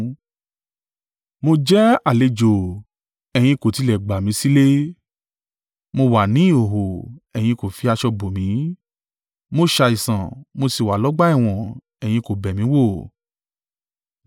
Mo jẹ́ àlejò, ẹ̀yin kò tilẹ̀ gbà mi sílé. Mo wà ní ìhòhò, ẹ̀yin kò fi aṣọ bò mi. Mo ṣàìsàn, mo sì wà lọ́gbà ẹ̀wọ̀n, ẹ̀yin kò bẹ̀ mí wò.’